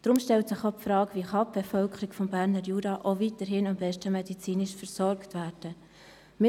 Deshalb stellt sich auch die Frage, wie die Bevölkerung des Berner Juras auch weiterhin bestmöglich medizinisch versorgt werden kann.